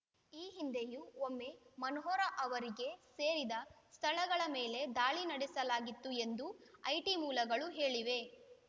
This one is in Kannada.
ಈ ಹಿಂದೆಯೂ ಒಮ್ಮೆ ಮನೋಹರ್‌ ಅವರಿಗೆ ಸೇರಿದ ಸ್ಥಳಗಳ ಮೇಲೆ ದಾಳಿ ನಡೆಸಲಾಗಿತ್ತು ಎಂದು ಐಟಿ ಮೂಲಗಳು ಹೇಳಿವೆ